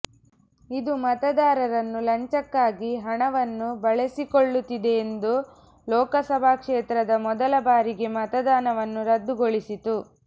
ಇದು ಮತದಾರರನ್ನು ಲಂಚಕ್ಕಾಗಿ ಹಣವನ್ನು ಬಳಸಿಕೊಳ್ಳುತ್ತಿದೆಯೆಂದು ಲೋಕಸಭಾ ಕ್ಷೇತ್ರದ ಮೊದಲ ಬಾರಿಗೆ ಮತದಾನವನ್ನು ರದ್ದುಗೊಳಿಸಿತು